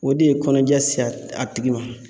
O de ye kɔnɔja se a tigi ma.